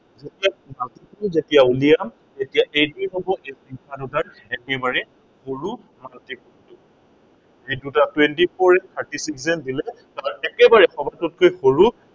আমি multiple যেতিয়া ওলিয়াম, তেতিয়া এইটোৱেই হব এই সংখ্য়া দুটাৰ একেবাৰে সৰু multiple এই দুটা twenty four and thirty six দিলে তাৰ একেবাৰে সৰু সৱকতৈ সৰু